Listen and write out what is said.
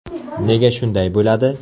Nega shunday bo‘ladi?